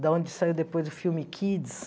Da onde saiu depois o filme Kids.